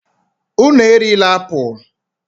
Unu erila apụl!